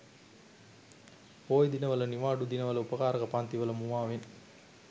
පෝය දින වල නිවාඩු දිනවල උපකාරක පන්ති වල මුවාවෙන්